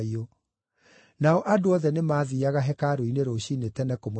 Nao andũ othe nĩmathiiaga hekarũ-inĩ rũciinĩ tene kũmũthikĩrĩria.